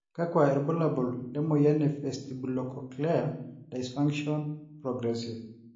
kakua irbulabol le moyian e Vestibulocochlear dysfunction, progressive?